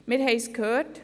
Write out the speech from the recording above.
Wir haben es gehört: